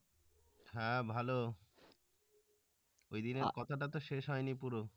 হ্যাঁ ভালো ওই দিনের কথা টা তো শেষ হইনি পুরো